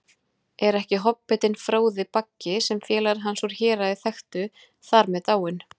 Er ekki hobbitinn Fróði Baggi, sem félagar hans úr Héraði þekktu, þar með dáinn?